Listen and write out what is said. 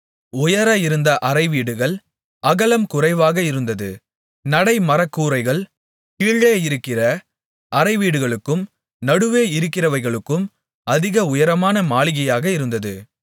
உயர இருந்த அறைவீடுகள் அகலம் குறைவாக இருந்தது நடை மரகூரைகள் கீழே இருக்கிற அறைவீடுகளுக்கும் நடுவே இருக்கிறவைகளுக்கும் அதிக உயரமான மாளிகையாக இருந்தது